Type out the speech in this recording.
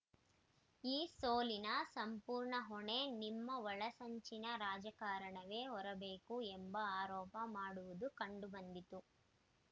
ಈ ಸೋಲಿನ ಸಂಪೂರ್ಣ ಹೊಣೆ ನಿಮ್ಮ ಒಳಸಂಚಿನ ರಾಜಕಾರಣವೇ ಹೊರಬೇಕು ಎಂಬ ಆರೋಪ ಮಾಡುವುದು ಕಂಡು ಬಂದಿತು